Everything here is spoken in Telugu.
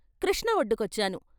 కృష్ణ వొడ్డుకొచ్చాను.